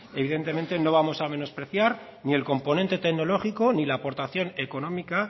evidentemente no vamos a menospreciar ni el componente tecnológico ni la aportación económica